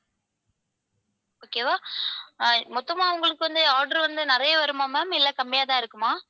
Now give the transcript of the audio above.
okay வா? அஹ் மொத்தமா உங்களுக்கு வந்து order வந்து நிறைய வருமா ma'am இல்ல கம்மியா தான் இருக்குமா?